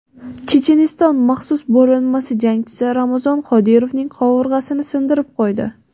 Checheniston maxsus bo‘linmasi jangchisi Ramzon Qodirovning qovurg‘asini sindirib qo‘ydi.